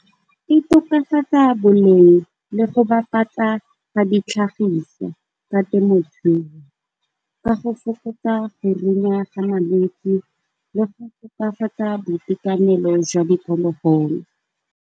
E tokafatsa boleng le go bapatsa ga ditlhagiswa ka temothuo, ka go fokotsa go runya ga malwetsi, le go tokafatsa boitekanelo jwa diphologolo.